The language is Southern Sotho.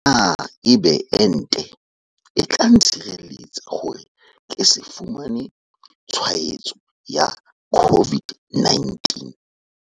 Na ebe ente e tla ntshireletsa hore ke se fumane tshwaetso ya COVID-19?